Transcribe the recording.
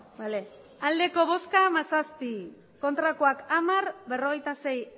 hamairu bai hamazazpi ez hamar abstentzioak berrogeita sei